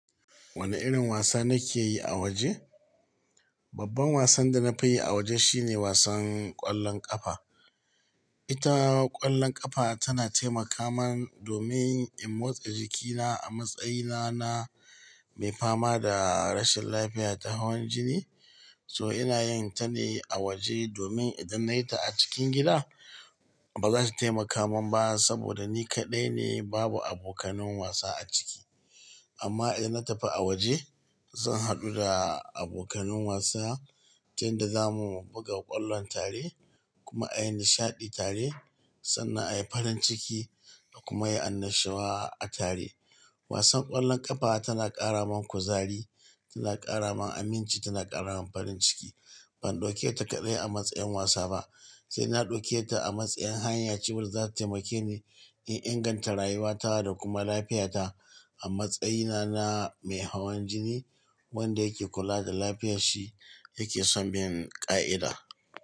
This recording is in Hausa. Wane irin wasa nake yi a waje? Babban wasan da na fi yi a waje shine wasan ƙwallon ƙafa. Ita ƙwallon ƙafa tana taimaka min domin in motsa jikina a matsayina na mai fama da rashin lafiya da hawan jini. So ina yin ta ne a waje domin idan nayi ta a cikin gida ba za su taimaka man ba saboda ni kaɗai ne babu abokanun wasa a ciki. Amma idan na tafi a waje, zan haɗu da abokanun wasa tunda zamu buga ƙwallon tare kuma a yi nishaɗi tare sannan a yi farin ciki da kuma yi annashuwa a tare. Wasan ƙwallon ƙafa tana ƙara man kuzari, tana ƙara man aminci, tana ƙara man farin ciki. Ban ɗauke ta kaɗai a matsayin wasa ba sai na ɗauke ta a matsayin hanya cewa za ta taimake ni in inganta rayuwata da kuma lafiyata a matsayina na mai hawan jini wanda yake kula da lafiyar shi yake son bin ƙa'ida.